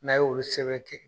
o bi sɛbɛn ten